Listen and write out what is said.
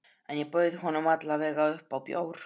En ég bauð honum alla vega upp á bjór.